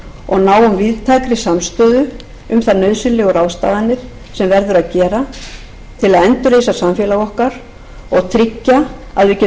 og náum víðtækri samstöðu um þær nauðsynlegu ráðstafanir sem verður að gera til að endurreisa samfélag okkar og tryggja að við getum búið